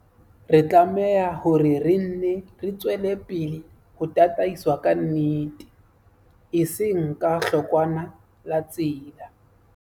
Re tlameha hore re nne re tswele pele ho tataiswa ke nnete, e seng ke hlokwana la tsela.